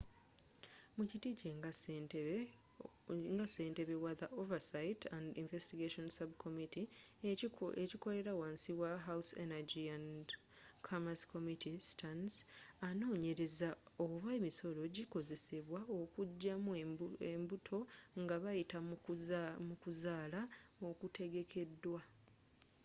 mukiti kye nga ssentebe wa the oversight and investigations subcommittee ekikolera wansi wa house energy and commerce committee stearns anooonyereza oba emisolo gikozesebwa okujjamu embuto nga bayita mu kuzaala okutegekeddwa